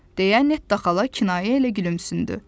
Deyə nettə xala kinayə ilə gülümsündü.